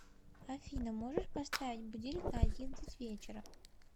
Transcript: афина можешь поставить будильник на одиннадцать вечера